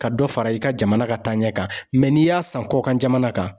Ka dɔ fara i ka jamana ka taaɲɛ kan, mɛ n'i y'a san kɔkan jamana kan